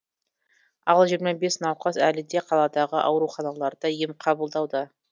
ал жиырма бес науқас әлі де қаладағы ауруханаларда ем қабылдауда